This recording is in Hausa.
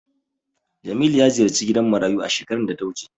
Jamilu ya ziyarci gidan marayu shekarar da ta wuce.